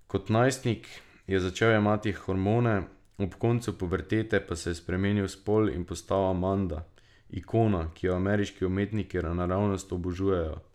Kot najstnik je začel jemati hormone, ob koncu pubertete pa je spremenil spol in postal Amanda, ikona, ki jo ameriški umetniki naravnost obožujejo.